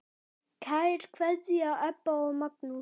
Kær kveðja, Ebba og Magnús.